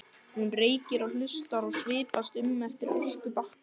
Hún reykir og hlustar og svipast um eftir öskubakka.